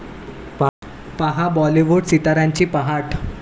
पाहा बाॅलिवूड सिताऱ्यांची पहाट